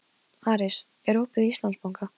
Aris, er opið í Íslandsbanka?